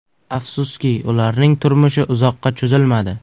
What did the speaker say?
Afsuski, ularning turmushi uzoqqa cho‘zilmadi.